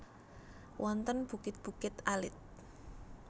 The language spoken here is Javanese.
Wonten bukit bukit alit